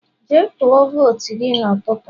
jee tuo votu gi n'ututu